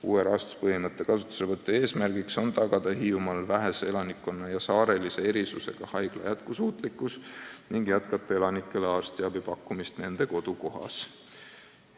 Uue rahastuspõhimõtte kasutuselevõtu eesmärk on tagada vähese elanikkonnaga Hiiumaal saarelise erisusega haigla jätkusuutlikkus ning anda elanikele edaspidigi arstiabi nende kodukohas.